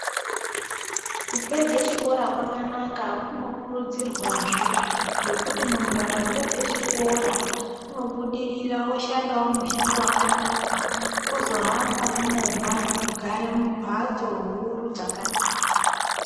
Kupedze chikora kwakanaka kunokurudzirwazve ngekuti muntu akapedze chikora unobudirira oshanda mushando wakanaka ozohamba nemovha nekugara mumbatso huru dzakanaka.